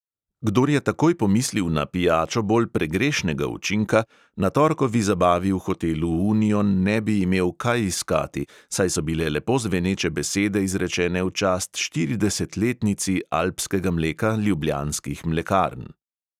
Kdor je takoj pomislil na pijačo bolj pregrešnega učinka, na torkovi zabavi v hotelu union ne bi imel kaj iskati, saj so bile lepo zveneče besede izrečene v čast štiridesetletnici alpskega mleka ljubljanskih mlekarn.